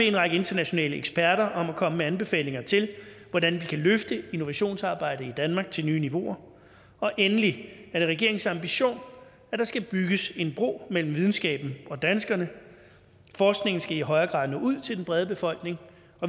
en række internationale eksperter om at komme med anbefalinger til hvordan vi kan løfte innovationsarbejdet i danmark til nye niveauer og endelig er det regeringens ambition at der skal bygges en bro mellem videnskaben og danskerne forskningen skal i højere grad nå ud til den brede befolkning